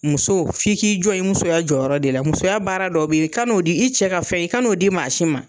Muso fi' k'i jɔ i ye musoya jɔyɔrɔ de la, musoya baara dɔ be yen i ka n'o di i cɛ ka fɛn i k an'o di maa si ma.